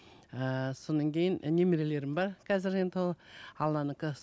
ііі кейін і немелерім бар қазір енді толы алланікі